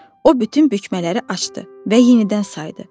O bütün bükmələri açdı və yenidən saydı.